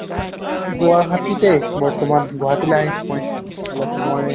গুৱাহাটীত এ বৰ্তমান. গুৱাহাটীলে আহিছো মই অলপ মই